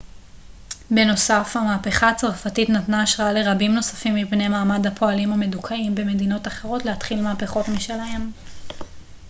בנוסף המהפכה הצרפתית נתנה השראה לרבים נוספים מבני מעמד הפועלים המדוכאים במדינות אחרות להתחיל מהפכות משלהם